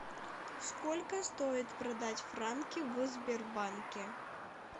сколько стоит продать франки в сбербанке